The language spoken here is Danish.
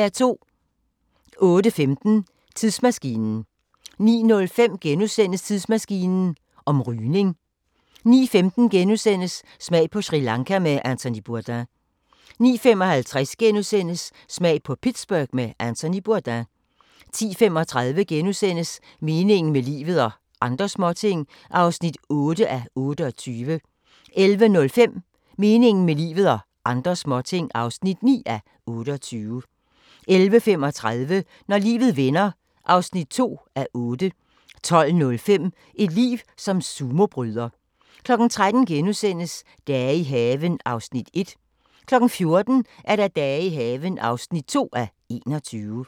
08:15: Tidsmaskinen 09:05: Tidsmaskinen om rygning * 09:15: Smag på Sri Lanka med Anthony Bourdain * 09:55: Smag på Pittsburgh med Anthony Bourdain * 10:35: Meningen med livet – og andre småting (8:28)* 11:05: Meningen med livet – og andre småting (9:28) 11:35: Når livet vender (2:8) 12:05: Et liv som sumobryder 13:00: Dage i haven (1:21)* 14:00: Dage i haven (2:21)